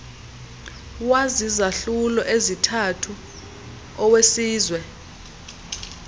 wazizahlulo ezithathu owesizwe